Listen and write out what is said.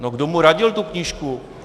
No, kdo mu radil tu knížku?